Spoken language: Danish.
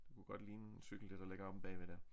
Det kunne godt ligne en cykel det der ligger omme bagved dér